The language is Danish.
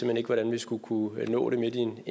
hen ikke hvordan jeg skulle kunne nå det midt i en